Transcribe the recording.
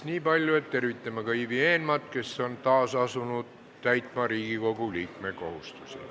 Kõigepealt tervitame Ivi Eenmaad, kes on taas asunud täitma Riigikogu liikme kohustusi.